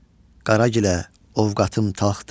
Qaragilə, ovqatım taxtdır.